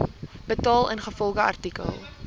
betaal ingevolge artikel